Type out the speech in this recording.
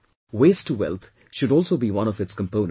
Waste to wealth should also be one of its components